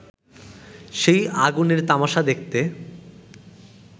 সেই আগুনের তামাশা দেখতে